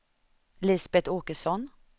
Lisbeth Åkesson